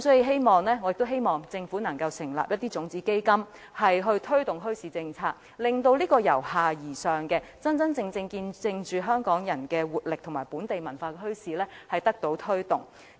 所以，我希望政府能成立種子基金推動墟市政策，真正以由下而上的方式推動見證着香港人活力和本地文化的墟市。